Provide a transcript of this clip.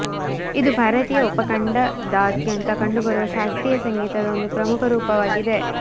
ಇದು ಭಾರತೀಯ ಉಪಖಂಡದಾದ್ಯಂತ ಕಂಡುಬರುವ ಶಾಸ್ತ್ರೀಯ ಸಂಗೀತದ ಒಂದು ಪ್ರಮುಖ ರೂಪವಾಗಿದೆ